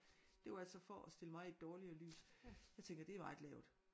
Det var altså for at stille mig i et dårligere lys jeg tænker det er meget lavt